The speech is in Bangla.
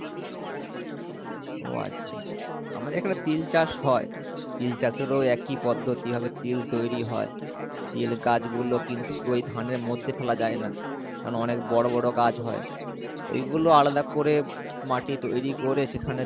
ওহ আচ্ছা আমাদের এখানে তিল চাষ হয় তিল চাষেরও একই পদ্ধতি কিভাবে তিল তৈরি হয় তিল গাছগুলো কিন্তু ওই ধানের মধ্যে ফেলা যায় না কারণ অনেক বড়ো বড়ো গাছ হয় ঐগুলো আলাদা করে মাটি তৈরী করে সেখানে